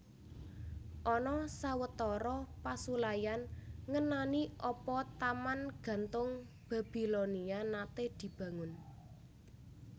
Ana sawetara pasulayan ngenani apa Taman Gantung Babilonia naté dibangun